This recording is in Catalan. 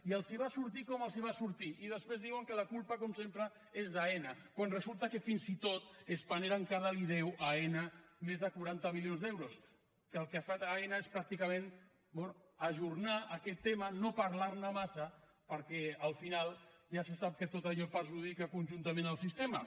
i els va sortir com els va sortir i després diuen que la culpa com sempre és d’aena quan resulta que fins i tot spanair encara deu a aena més de quaranta milions d’euros que el que ha fet aena és pràcticament ajornar aquest tema no parlar ne massa perquè al final ja se sap que tot allò perjudica conjuntament el sistema